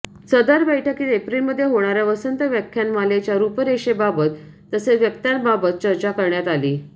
सदर बैठकीत एप्रिलमध्ये होणाऱया वसंत व्याख्यानमालेच्या रूपरेषेबाबत तसेच वक्त्यांबाबत चर्चा करण्यात आली